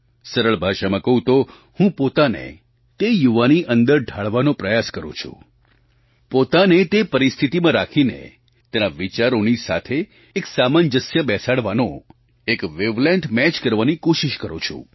સરળ ભાષામાં કહું તો હું પોતાને તે યુવાની અંદર ઢાળવાનો પ્રયાસ કરું છું પોતાને તે પરિસ્થિતિમાં રાખીને તેના વિચારોની સાથે એક સાંમજસ્ય બેસાડવાનો એક વૅવલૅન્થ મેચ કરવાની કોશિશ કરું છું